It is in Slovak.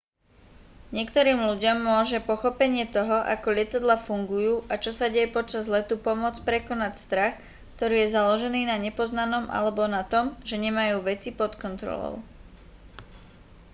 niektorým ľuďom môže pochopenie toho ako lietadlá fungujú a čo sa deje počas letu pomôcť prekonať strach ktorý je založený na nepoznanom alebo na tom že nemajú veci pod kontrolou